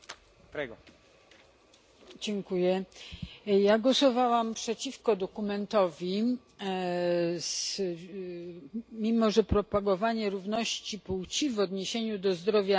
Głosowałam przeciwko dokumentowi, mimo że propagowanie równości płci w odniesieniu do zdrowia psychicznego i badań klinicznych jest interesujące.